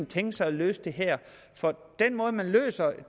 tænkt sig at løse det her den måde man løser